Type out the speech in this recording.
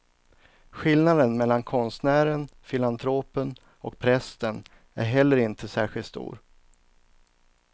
Skillnaden mellan konstnären, filantropen och prästen är heller inte särskilt stor.